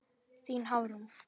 Þín Hafrún.